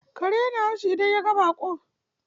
Kare ya na haushi idan ya ga baƙo.